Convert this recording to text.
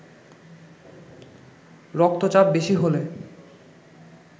রক্তচাপ বেশি হলে